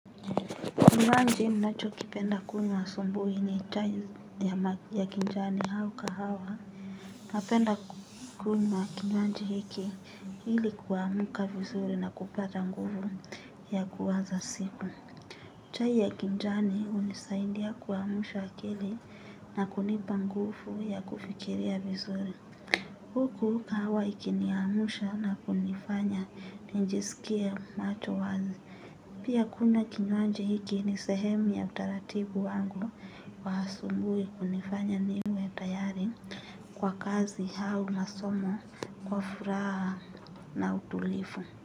Kinywanji ninachokipenda kunywa asubuhi ni chai ya kinjani au kahawa. Napenda kunywa kinywaji hiki ili kuamka vizuri na kupata nguvu ya kuaza siku. Chai ya kinjani hunisaindia kuamsha akili na kunipa nguvu ya kufikiria vizuri. Huku kahawa ikiniamsha na kunifanya nijisikie macho wazi. Pia kunywa kinywaji hiki ni sehemu ya utaratibu wangu wa asubuhi kunifanya niwe tayari kwa kazi au masomo kwa furaha na utulivu.